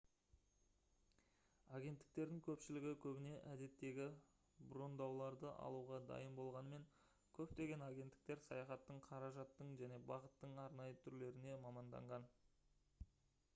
агенттіктердің көпшілігі көбіне әдеттегі брондауларды алуға дайын болғанымен көптеген агенттіктер саяхаттың қаражаттың және бағыттың арнайы түрлеріне маманданған